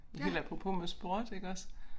Helt apropos med sport iggås